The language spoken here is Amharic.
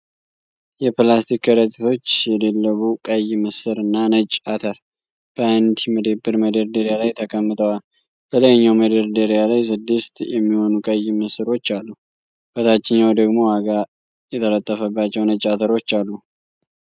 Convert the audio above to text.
የፕላስቲክ ከረጢቶች የደለቡ ቀይ ምስር እና ነጭ አተር በአንድ መደብር መደርደሪያ ላይ ተቀምጠዋል። በላይኛው መደርደሪያ ላይ ስድስት የሚሆኑ ቀይ ምስሮች አሉ፤ በታችኛው ደግሞ ዋጋ የተለጠፈባቸው ነጭ አተሮች አሉ።